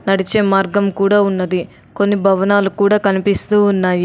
నడిచే మార్గం కూడా ఉన్నది. కొన్ని భవనాలు కూడా కనిపిస్తూ ఉన్నాయి.